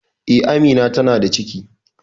Eh, Amina ta na da ciki